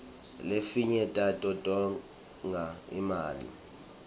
lefinye tato tonga imali